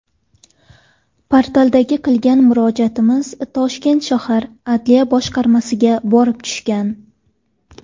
Portalda qilgan murojaatimiz Toshkent shahar Adliya boshqarmasiga borib tushgan.